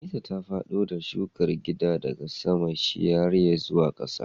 Aneesa ta fado shukar gidan daga saman shiryayye zuwa kasa